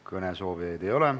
Kõnesoovijaid ei ole.